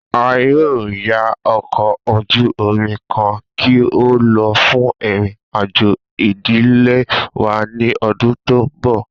A yoo ya ọkọ oju omi kan ki o lọ fun irin-ajo idile wa ni ọdun to nbọ.